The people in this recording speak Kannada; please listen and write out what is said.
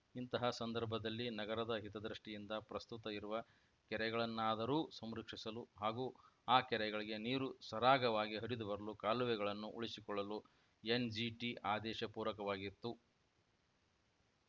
ಇಂತಹ ಸಂದರ್ಭದಲ್ಲಿ ನಗರದ ಹಿತದೃಷ್ಟಿಯಿಂದ ಪ್ರಸ್ತುತ ಇರುವ ಕೆರೆಗಳನ್ನಾದರೂ ಸಂರಕ್ಷಿಸಲು ಹಾಗೂ ಆ ಕೆರೆಗಳಿಗೆ ನೀರು ಸರಾಗವಾಗಿ ಹರಿದುಬರಲು ಕಾಲುವೆಗಳನ್ನು ಉಳಿಸಿಕೊಳ್ಳಲು ಎನ್‌ಜಿಟಿ ಆದೇಶ ಪೂರಕವಾಗಿತ್ತು